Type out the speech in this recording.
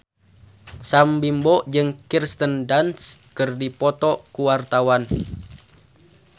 Sam Bimbo jeung Kirsten Dunst keur dipoto ku wartawan